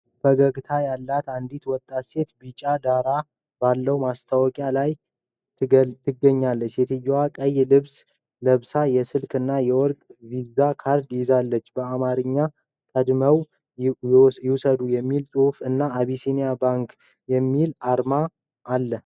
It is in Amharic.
ፈገግታ ያላት አንዲት ወጣት ሴት ቢጫ ዳራ ባለው ማስታወቂያ ላይ ትገኛለች። ሴትየዋ ቀይ ልብስ ለብሳ የስልክ እና የወርቅ ቪዛ ካርድ ይዛለች። በአማርኛ "ቀድመው ይውሰዱ" የሚል ጽሑፍ እና "Bank of Abyssinia" የሚል አርማ አለ።